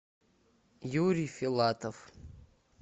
юрий филатов